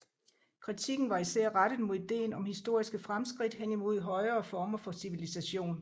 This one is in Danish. Kritikken var især rettet mod ideen om historiske fremskridt hen imod højere former for civilisation